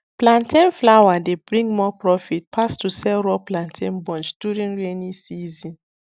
plantain flour dey bring more profit pass to sell raw plantain bunch during rainy season